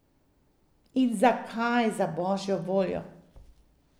In zakaj, za božjo voljo?